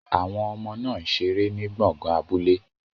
Àwọn ọmọ náà ń ṣeré ní gbọ̀ngàn abúlé.